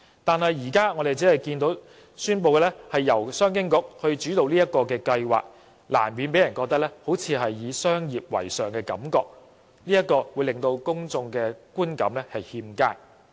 但是，政府現時宣布由商務及經濟發展局主導整個計劃，難免讓人有"商業為上"的感覺，令公眾的觀感欠佳。